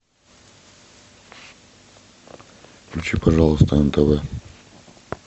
включи пожалуйста нтв